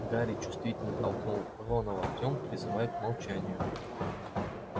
гарри чувствительно толкнул рона локтем призывая к молчанию